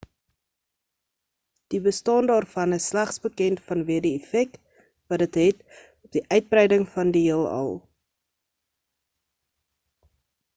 die bestaan daarvan is slegs bekend vanweë die effek wat dit het op die uitbreiding van die heelal